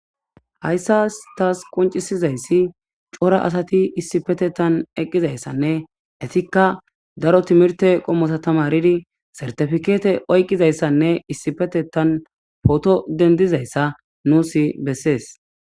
Hayssas tas qonccisizayssi cora asatii issipetetan eqizayssanne ettikka daro timhirte qoommota tammaridi certipikette oyqizayssanne issipetetan potto dendidayssa nuus besses